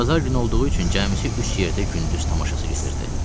Bazar günü olduğu üçün cəmisi üç yerdə gündüz tamaşası gedirdi.